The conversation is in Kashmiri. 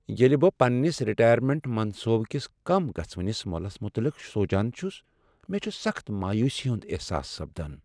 ییٚلہ بہٕ پننس رٹایٔرمینٹ منصوبہٕ کس کم گژھوِنس مۄلس متعلق سونچان چھُس ،مےٚ چھُ سخت مایوٗسی ہند احساس سپدان۔